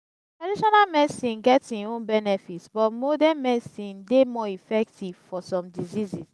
taditional medicine get im own benefits but modern medicine dey more effective for some diseases.